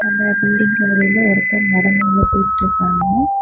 அந்த பில்டிங் வெளிய ஒருத்தர் நடந்து உள்ள போயிட்டுருக்காங்க.